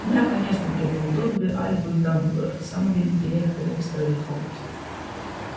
да конечно кивнул добби альбус дамблдор самый великий ректор в истории хогвартса